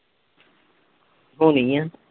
ਹੋਣੀ ਆ